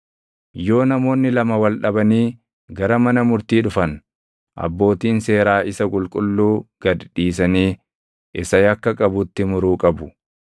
Yoo namoonni lama wal dhabanii gara mana murtii dhufan, abbootiin seeraa isa qulqulluu gad dhiisanii isa yakka qabutti muruu qabu.